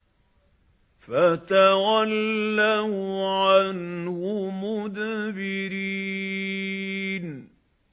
فَتَوَلَّوْا عَنْهُ مُدْبِرِينَ